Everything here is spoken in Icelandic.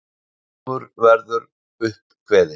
Dómur verður upp kveðinn.